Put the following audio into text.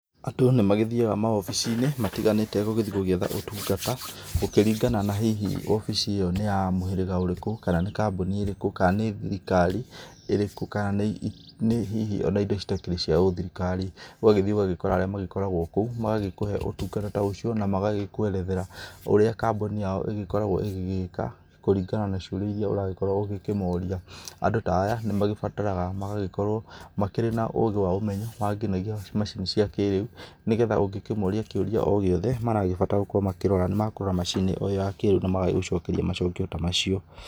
Andũ nĩ magĩthiaga maobici-inĩ, matiganĩte gũgĩthi gũgĩetha ũtungata, gũkĩringana na hihi wobici ĩyo nĩ ya mũhĩrĩga ũrĩkũ, kana nĩ kambuni ĩrĩkũ, kana nĩ thirikari ĩrĩku, kana nĩ hihi ona indo citakĩrĩ cia ũthirikari. Ũgagĩthiĩ ũgagĩkora arĩa magĩkoragwo kũu, magagĩkũhe ũtungata ta ũcio, na magagĩkwerethera ũrĩa kambuni yao ĩgĩkoragwo ĩgĩgĩka, kũringana na ciũria irĩa ũragĩkorwo ũgĩkĩmoria. Andũ ta aya, nĩ magĩbataraga magagĩkorwo makĩrĩ na ũũgĩ wa ũmenyo, wa nginyagia macini cia kĩrĩu, nĩgetha ũngĩkĩmoria kĩũria o gĩothe maragĩbatara gũkorwo makĩrora, nĩ makũrora macini ĩyo ya kĩrĩu, na magagũcokeria macokio ta macio.